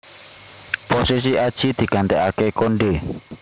Posisi Adjie digantikaké Konde